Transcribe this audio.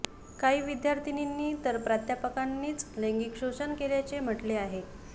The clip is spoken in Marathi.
काही विद्यार्थिनींनी तर प्राध्यापकांनीच लैंगिक शोषण केल्याचे म्हटले आहे